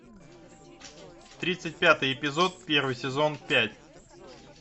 тридцать пятый эпизод первый сезон пять